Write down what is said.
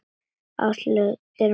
Áslaug sneri í mig baki.